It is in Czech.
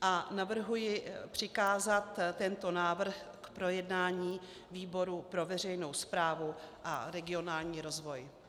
a navrhuji přikázat tento návrh k projednání výboru pro veřejnou správu a regionální rozvoj.